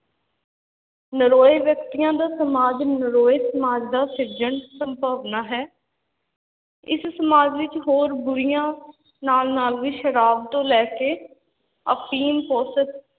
ਨਰੋਏ ਵਿਅਕਤੀਆਂ ਦਾ ਸਮਾਜ ਨਰੋਏ ਸਮਾਜ ਦਾ ਸਿਰਜਣ ਸੰਭਾਵਨਾ ਹੈ ਇਸ ਸਮਾਜ ਵਿੱਚ ਹੋਰ ਬੁਰੀਆਂ ਨਾਲ-ਨਾਲ ਵੀ ਸ਼ਰਾਬ ਤੋਂ ਲੈ ਕੇ ਅਫ਼ੀਮ, ਪੋਸਤ,